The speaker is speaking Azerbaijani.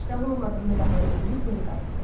İştahı olmadığını bəhanə eləyib geri qayıtdı.